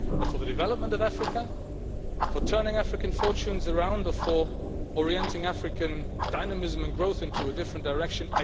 But for the development of Africa, for turning African fortunes around or for orienting African dynamism and growth into a different direction?